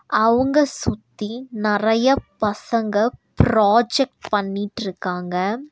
அவுங்க சுத்தி நெரய பசங்க ப்ராஜெக்ட் பண்ணிட்ருக்காங்க.